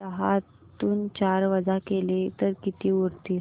दहातून चार वजा केले तर किती उरतील